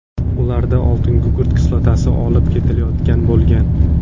Ularda oltingugurt kislotasi olib ketilayotgan bo‘lgan.